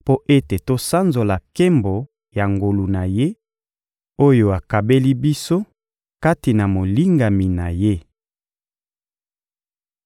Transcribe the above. mpo ete tosanzola nkembo ya ngolu na Ye, oyo akabeli biso kati na Molingami na Ye.